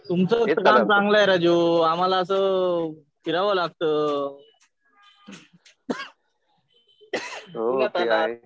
तुमचा कामं चांगलं आहे राजू. आम्हाला असं फिरावं लागतं.ing उन्हातान्हात.